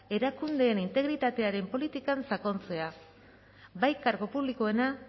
erakundeen integritatearen politikan sakontzea bai kargo publikoena